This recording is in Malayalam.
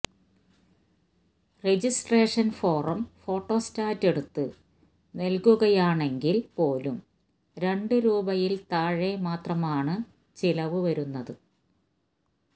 രജിസ്ട്രേഷന് ഫോറം ഫോട്ടോ സ്റ്റാറ്റ് എടുത്ത് നല്കുകയാണെങ്കില് പോലും രണ്ട് രൂപയില് താഴെ മാത്രമാണ് ചിലവ് വരുന്നത്